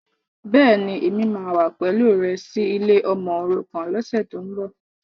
Bẹ́ẹ̀ni, Èmi wà wá pẹ̀lú rẹ sì ilé ọmọòrukàn lọ́sẹ̀tíbọ̀.